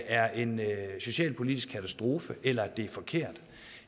er en socialpolitisk katastrofe eller at det er forkert